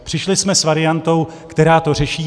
Přišli jsme s variantou, která to řeší.